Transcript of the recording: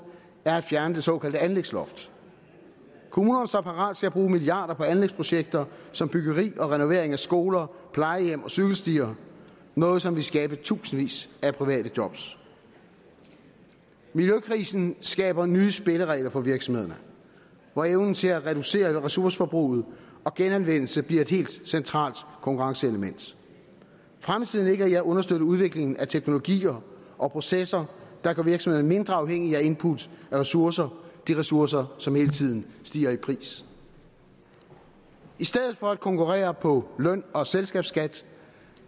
er at fjerne det såkaldte anlægsloft kommunerne står parat til at bruge milliarder på anlægsprojekter som byggeri og renovering af skoler plejehjem og cykelstier noget som ville skabe i tusindvis af private jobs miljøkrisen skaber nye spilleregler for virksomhederne hvor evnen til at reducere ressourceforbruget og til genanvendelse bliver et helt centralt konkurrenceelement fremtiden ligger i at understøtte udviklingen af teknologier og processer der gør virksomhederne mindre afhængige af input af ressourcer de ressourcer som hele tiden stiger i pris i stedet for at konkurrere på løn og selskabsskat